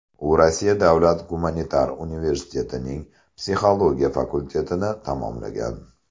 U Rossiya davlat gumanitar universitetining psixologiya fakultetini tamomlagan.